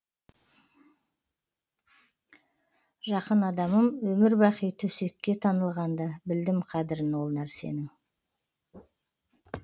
жақын адамым өмір бақи төсекке танылғанда білдім қадірін ол нәрсенің